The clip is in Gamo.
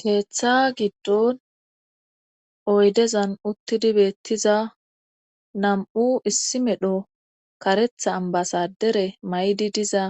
Keeththa giddon oydezan uttidi beettiza nam'u issi medho karetha ambasadere may'di diza